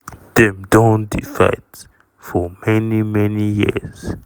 dem don dey fight for many many years.